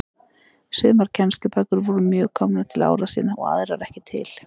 Sumar kennslubækur voru mjög komnar til ára sinna og aðrar ekki til.